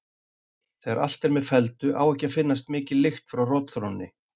Þegar allt er með felldu á ekki að finnast mikil lykt frá rotþrónni.